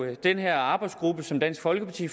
jo den her arbejdsgruppe som dansk folkeparti